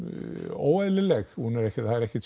óeðlileg hún er ekki það er ekkert